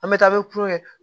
An bɛ taa ni kulo kɛ